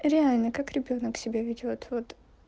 реально как ребёнок себя ведёт вот